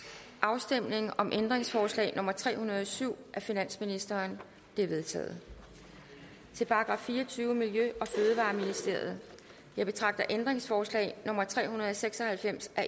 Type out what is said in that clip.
afstemning om ændringsforslag nummer tre hundrede og syv af finansministeren det er vedtaget til § fireogtyvende miljø og fødevareministeriet jeg betragter ændringsforslag nummer tre hundrede og seks og halvfems af